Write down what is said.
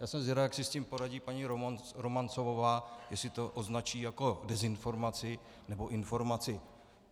Já jsem zvědav, jak si s tím poradí paní Romancovová, jestli to označí jako dezinformaci, nebo informaci.